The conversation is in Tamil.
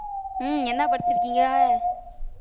ஹம் என்ன படிச்சிருக்கீங்க